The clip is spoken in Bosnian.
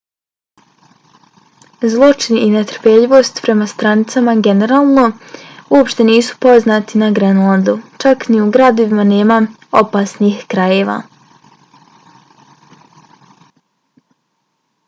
zločin i netrpeljivost prema strancima generalno uopšte nisu poznati na grenlandu. čak ni u gradovima nema opasnih krajeva